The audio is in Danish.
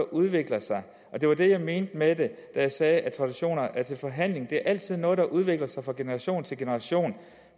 udvikler sig og det var det jeg mente da jeg sagde at traditioner er til forhandling det er altid noget der udvikler sig fra generation til generation